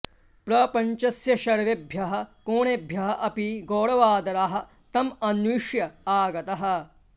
प्रपञ्चस्य सर्वेभ्यः कोणेभ्यः अपि गौरवादराः तम् अन्विष्य आगताः